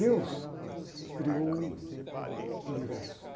Deus criou o universo.